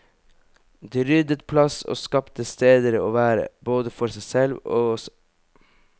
De ryddet plass og skapte steder å være, både for seg selv og oss.